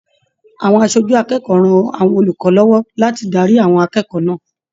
Àwọn aṣojú akẹ́kọ̀ọ́ rán àwọn olùkọ lọwọ láti darí àwọn akẹ́kọ̀ọ́ náà.